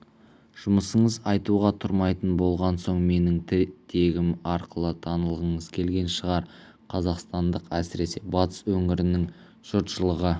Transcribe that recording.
жұмысыңыз айтуға тұрмайтын болған соң менің тегім арқылы танылғыңыз келген шығар қазақстандықтар әсіресе батыс өңірінің жұртшылығы